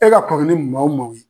E ka kɔmini maa o man ɲe